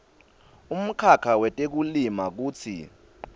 umkhakha wetekulima kutsi